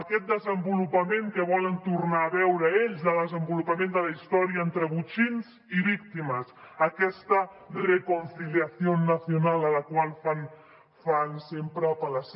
aquest desenvolupament que volen tornar a veure ells el desenvolupament de la història entre botxins i víctimes aquesta reconciliación nacional a la qual fan sempre apel·lació